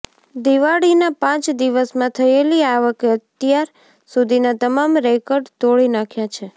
દિવાળીના પાંચ દિવસમાં થયેલી આવકે અત્યાર સુધીના તમામ રેકર્ડ તોડી નાંખ્યા છે